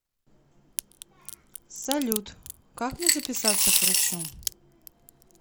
салют как мне записаться к врачу